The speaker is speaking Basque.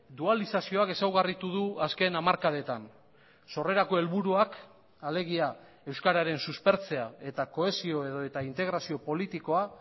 dualizazioak ezaugarritu du azken hamarkadetan sorrerako helburuak alegia euskararen suspertzea eta kohesio edota integrazio politikoa